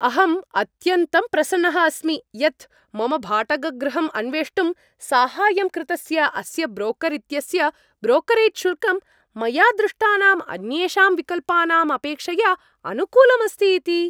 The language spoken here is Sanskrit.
अहम् अत्यन्तं प्रसन्नः अस्मि यत्, मम भाटकगृहम् अन्वेष्टुं साहाय्यं कृतस्य अस्य ब्रोकर् इत्यस्य ब्रोकरेज् शुल्कं, मया दृष्टानाम् अन्येषां विकल्पानाम् अपेक्षया अनुकूलम् अस्ति इति।